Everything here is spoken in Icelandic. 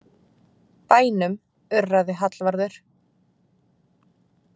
Bænum, urraði Hallvarður.